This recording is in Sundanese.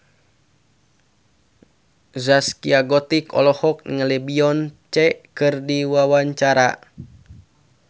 Zaskia Gotik olohok ningali Beyonce keur diwawancara